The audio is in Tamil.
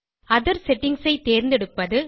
ஒத்தேர் செட்டிங்ஸ் ஐ தேர்ந்தெடுப்பது